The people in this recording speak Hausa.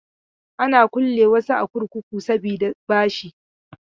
Ana kulle wasu a kurkuku saboda bashi.